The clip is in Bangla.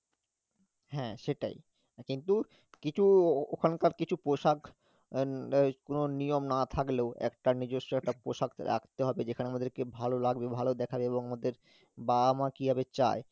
হ্যাঁ, সেটাই কিন্তু কিছু ও~ ওখানকার কিছু পোশাক কোন নিয়ম না থাকলেও একটা নিজস্ব একটা পোশাক রাখতে হবে যেখানে আমাদেরকে ভালো লাগবে ভালো দেখাবে এবং ওদের বাবা মা কিভাবে চায়